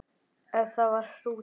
Ef það var hrútur.